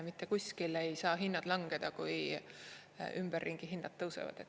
Mitte kuskile ei saa hinnad langeda, kui ümberringi hinnad tõusevad.